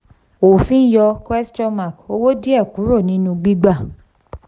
òfin yọ owó díẹ̀ kúrò nínú gbígbà